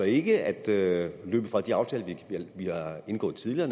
ikke at løbe fra de aftaler vi har indgået tidligere